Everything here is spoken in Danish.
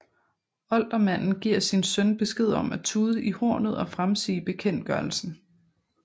Oldermanden giver sin søn besked om at tude i hornet og fremsige bekendtgørelsen